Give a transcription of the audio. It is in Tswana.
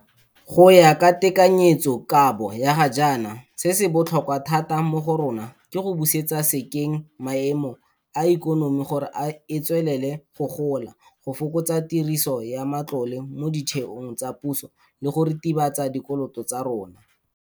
Go ya ka tekanyetsokabo ya ga jaana se se botlhokwa thata mo go rona ke go busetsa sekeng maemo a ikonomi gore e tswelele go gola, go fokotsa tiriso ya matlole mo ditheong tsa puso le go ritibatsa dikoloto tsa rona.